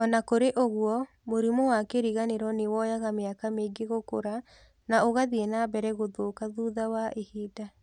O na kũrĩ ũguo, mũrimũ wa kĩriganĩro nĩ woyaga mĩaka mingĩ gũkũra, na ũgathiĩ na mbere gũthũka thutha wa ihinda.